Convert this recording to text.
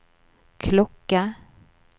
klokke